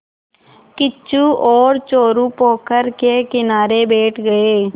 किच्चू और चोरु पोखर के किनारे बैठ गए